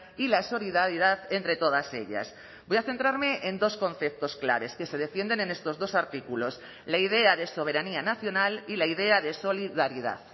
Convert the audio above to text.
y la solidaridad entre todas ellas voy a centrarme en dos conceptos claves que se defienden en estos dos artículos la idea de soberanía nacional y la idea de solidaridad